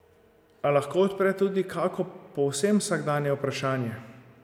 A lahko odpre tudi kako povsem vsakdanje vprašanje.